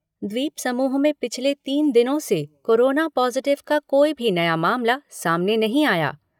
द्वीपसमूह में पिछले तीन दिनों से कोरोना पॉज़िटिव का कोई भी नया मामला सामने नहीं आया।